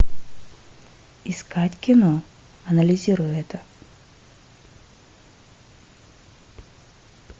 искать кино анализируй это